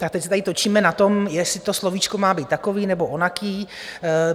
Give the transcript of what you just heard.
Tak teď se tady točíme na tom, jestli to slovíčko má být takové nebo onaké.